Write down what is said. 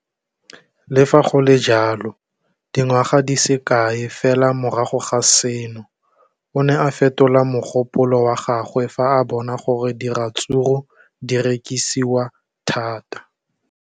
Le fa go le jalo, dingwaga di se kae fela morago ga seno, o ne a fetola mogopolo wa gagwe fa a bona gore diratsuru di rekisiwa thata.